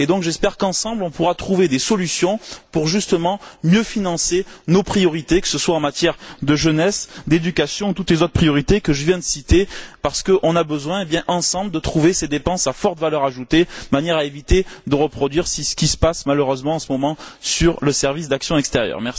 J'espère donc qu'ensemble, on pourra trouver des solutions pour justement mieux financer nos priorités, que ce soit en matière de jeunesse, d'éducation ou concernant toutes les autres priorités que je viens de citer parce qu'on a besoin, ensemble, de trouver ces dépenses à forte valeur ajoutée de manière à éviter de reproduire ce qui se passe malheureusement en ce moment sur le service d'action extérieure.